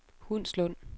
Hundslund